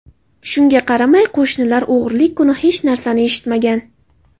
Shunga qaramay, qo‘shnilar o‘g‘rilik kuni hech narsani eshitmagan.